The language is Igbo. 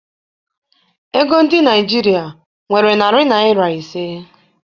Ego ndị Naịjirịa nwere narị naịra ise.